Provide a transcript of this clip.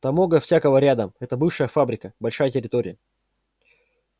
там много всякого рядом это бывшая фабрика большая территория